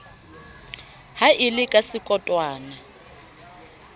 ha e le ka sekotwana